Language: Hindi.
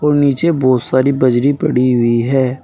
नीचे बहोत सारी बजरी पड़ी हुई है।